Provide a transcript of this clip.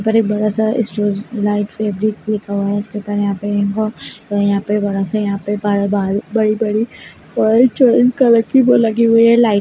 यहाँ पे बहोत सारा लिखा हुआ है इसके ऊपर यहाँ पे बहोत यहाँ पे बड़ा सा यहाँ पे बड़ा बड़ा बड़ी बड़ी कलर की वो लगी हुई हैं लाइट .